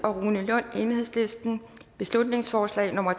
rune lund beslutningsforslag nummer